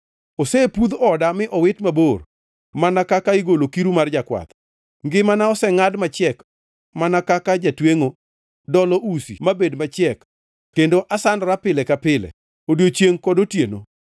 Osepudh oda mi owit mabor mana kaka igolo kiru mar jakwath. Ngimana osengʼad machiek mana kaka jatwengʼo dolo usi mabed machiek kendo asandora pile ka pile, odiechiengʼ kod otieno.